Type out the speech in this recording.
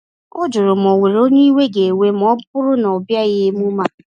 Ọ jụrụ ma o nwere onye iwe ga ewe ma ọ bụrụ na ọbịaghi emume a